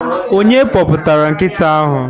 Onye kpọpụtara nkịta ahụ?